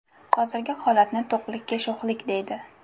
Hozirgi holatni to‘qlikka sho‘xlik, deydi.